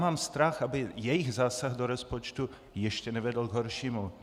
Mám strach, aby jejich zásah do rozpočtu ještě nevedl k horšímu.